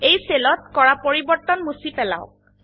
এই সেলত কৰা পৰিবৰ্তন মুছি পেলাওক